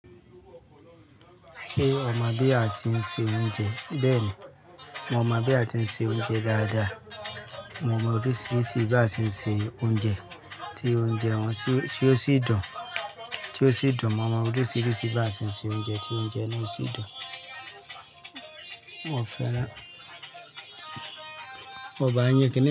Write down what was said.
Ṣé o mọ̀ bí a e ń se oúnjẹ bẹ́ẹ̀ni, mo mọ bí a tin ń se oúnjẹ dáadáa. Mo mọ oríṣiríṣi bí a se ń se oúnjẹ tí oúnjẹ wọn tí ó sì dùn, tí ó sì dùn. Mo mọ oríṣiríṣi bí a ṣe ń se oúnjẹ tí oúnjẹ náà sì dùn. Mo fẹ̀ràn, mo ba nyín kiní.